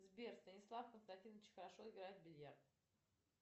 сбер станислав константинович хорошо играет в бильярд